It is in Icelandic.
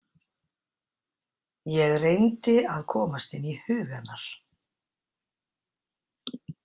Ég reyndi að komast inn í hug hennar.